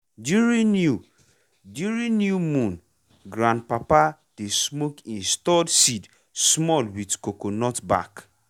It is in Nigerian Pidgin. during new during new moon grandpapa dey smoke e stored seed small with coconut back.